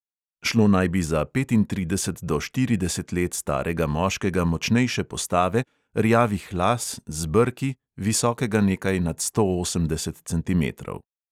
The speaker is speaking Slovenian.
Šlo naj bi za petintrideset do štirideset let starega moškega močnejše postave, rjavih las, z brki, visokega nekaj nad sto osemdeset centimetrov.